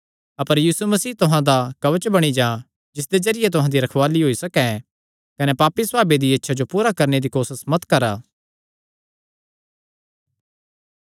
अपर प्रभु यीशु मसीह तुहां दा कवच बणी जां जिसदे जरिये तुहां दी रखवाल़ी होई सकैं कने पापी सभावे दियां इच्छां जो पूरा करणे दी कोसस मत करा